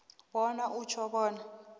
bona utjho bona